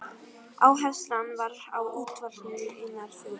Áherslan var á útvalningu einnar þjóðar.